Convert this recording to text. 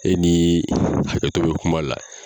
E ni hakɛto be kuma la